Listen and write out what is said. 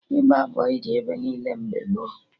Ịgba bọyị dị ebe niile mgbe gboo